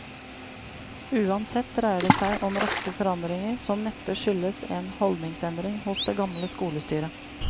Uansett dreier det seg om raske forandringer som neppe skyldtes en holdningsendring hos det gamle skolestyret.